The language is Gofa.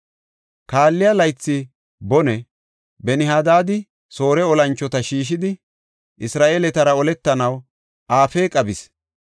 Kaalliya laythi bone Ben-Hadaadi Soore olanchota shiishidi, Isra7eeletara oletanaw Afeeqa bis.